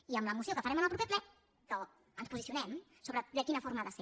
i amb la moció que farem en el proper ple ens posicionem sobre de quina forma ha de ser